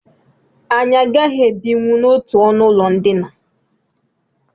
Anyị agaghị ebinwu n'otu ọnụụlọ ndina